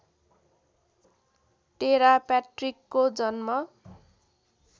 Terra प्याट्रिकको जन्म